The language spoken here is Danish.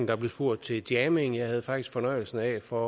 der bliver spurgt til jamming jeg havde faktisk fornøjelsen af for